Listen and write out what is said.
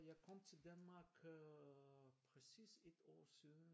Jeg kom til Danmark øh præcis ét år siden